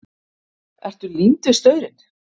Ertu límd við staurinn?